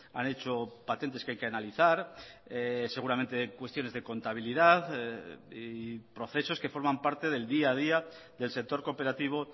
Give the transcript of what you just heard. han hecho patentes que hay que analizar seguramente cuestiones de contabilidad y procesos que forman parte del día a día del sector cooperativo